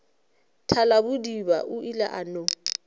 thalabodiba o ile a no